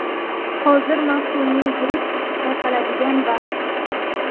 Hozir mavsumiy gripp tarqaladigan vaqt.